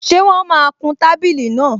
Ṣé wọ́n máa kun tábìlì náà?